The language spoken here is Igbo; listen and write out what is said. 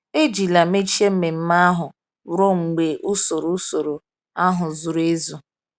Ejila mechie mmemme ahụ ruo mgbe usoro usoro ahụ zuru ezu.